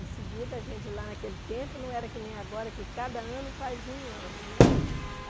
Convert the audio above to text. Em seguida, a gente lá naquele tempo não era que nem agora, que cada ano faz um ano né.